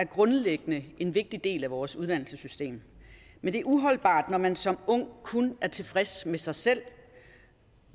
grundlæggende er en vigtig del af vores uddannelsessystem men det er uholdbart når man som ung kun er tilfreds med sig selv